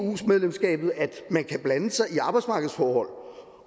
medlemskabet at man kan blande sig i arbejdsmarkedsforhold